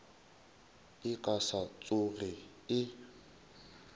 e ka se tsoge e